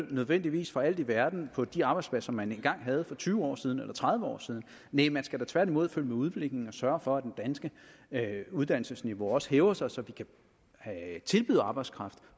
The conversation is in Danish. nødvendigvis for alt i verden på de arbejdspladser man engang havde for tyve år siden eller tredive år siden næh man skal da tværtimod følge med udviklingen og sørge for at det danske uddannelsesniveau også hæver sig så vi kan tilbyde arbejdskraft